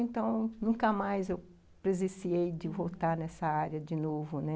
Então, nunca mais eu presenciei de voltar nessa área de novo, né?